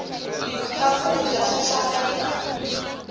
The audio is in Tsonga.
swa kudya swa xaveka